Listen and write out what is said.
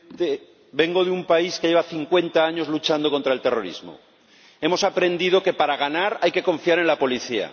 Señor Presidente, vengo de un país que lleva cincuenta años luchando contra el terrorismo. Hemos aprendido que para ganar hay que confiar en la policía.